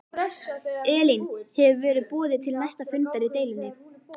Elín hefur verið boðað til næsta fundar í deilunni?